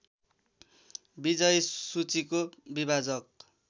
विजयी सूचीको विभाजक